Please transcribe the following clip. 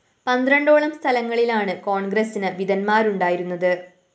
പന്ത്രണ്ടോളം സ്ഥലങ്ങളിലാണ് കോണ്‍ഗ്രസ്സിന് വിമതന്മാരുണ്ടായിരുന്നത്